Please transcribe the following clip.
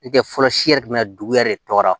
N'o tɛ fɔlɔ si yɛrɛ bi na dugu yɛrɛ tɔgɔ la